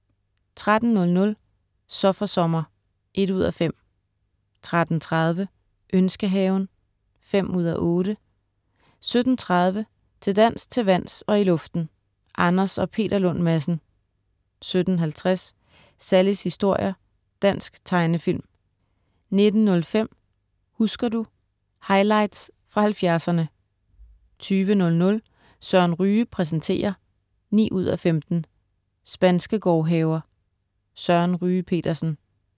13.00 Så for sommer 1:5* 13.30 Ønskehaven 5:8* 17.30 Til dans, til vands og i luften. Anders & Peter Lund Madsen 17.50 Sallies historier. Dansk tegnefilm 19.05 Husker du ... Highlights fra 70'erne 20.00 Søren Ryge præsenterer 9:15. Spanske gårdhaver. Søren Ryge Petersen